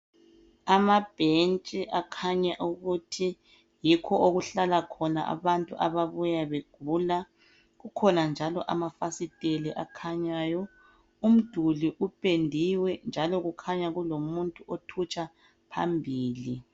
Amabhentshi akhanya ukuthi yikho okuhlala khona abantu ababuya begula. Kukhona njalo amafasiteli akhanyayo. Umduli upendiwe, njalo kukhanya kulomuntu othutsha phambili.